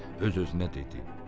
Öz-özünə dedi: